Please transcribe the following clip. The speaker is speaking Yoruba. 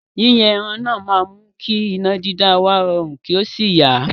́Yíyan ẹran náà máa mú kí iná dídá wa rọrun, kí ó sì yá.